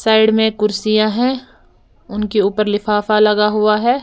Side में कुर्सियां हैं उनके ऊपर लिफाफा लगा हुआ है।